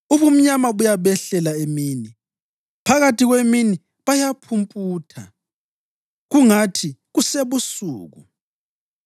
Ubumnyama buyabehlela emini; phakathi kwemini bayaphumputha kungathi kusebusuku.